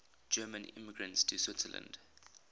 german immigrants to switzerland